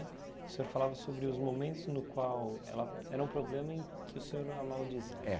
O senhor falava sobre os momentos no qual ela era um problema em que o senhor a maldizia. É